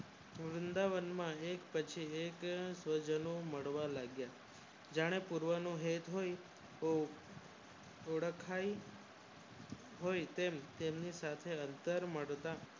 તો વૃંદાવન માં એક પછી એક લોકો પ્રજનો મળવા લાગ્યા જાણે પુરાવાનું હેત હોય ઓળખાય હોય તો તેમની સાથેઓરચાં કરવા લાગ્યા